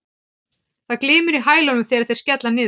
Það glymur í hælunum þegar þeir skella niður.